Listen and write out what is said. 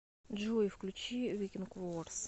джой включи викенд ворс